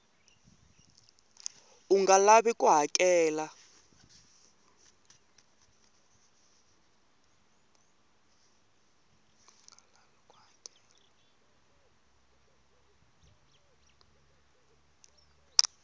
u nga lavi ku hakela